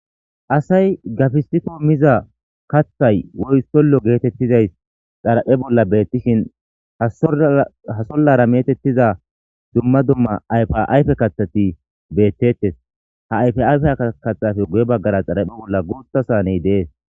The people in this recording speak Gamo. asay gafisiko miza kathay woy sollo geetettizays xaraphe bolla beettishin hasollara metettiza dumma dumma ayfa ayfe kathati beettettes ha ayfayfe katafe guye baggara xaraphe bolla guutha saaney dees